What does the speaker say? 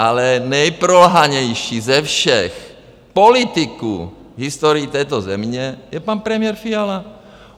Ale nejprolhanější ze všech politiků v historii této země je pan premiér Fiala.